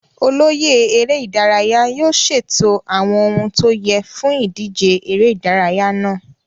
Olóyè eré ìdárayá yóò ṣètò àwọn ohun tó yẹ fún ìdíje ère ìdárayá náà.